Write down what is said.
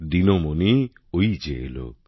দিনমণি ওই যে এলো